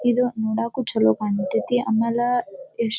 ಇದು ನೋಡೇಕು ಚಲೋ ಕಾಂತೈತಿ ಆಮೇಲೆ ಎಷ್ಟ್ --